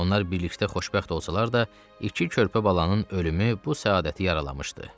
Onlar birlikdə xoşbəxt olsalar da, iki körpə balanın ölümü bu səadəti yaralamışdı.